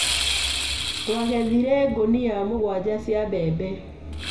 Twagethire ngunia mũgwanja cia mbembe.